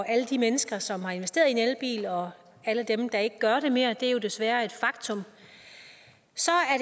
alle de mennesker som har investeret i en elbil og alle dem der ikke gør det mere det er jo desværre et faktum